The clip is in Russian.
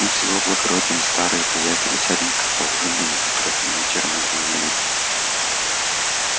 мы с его благородием старые приятели сядем-ка да поужинаем утро вечера мудренее